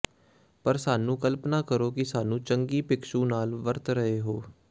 ਪਰ ਸਾਨੂੰ ਕਲਪਨਾ ਕਰੋ ਕਿ ਸਾਨੂੰ ਚੰਗੀ ਭਿਕਸ਼ੂ ਨਾਲ ਵਰਤ ਰਹੇ ਹੋ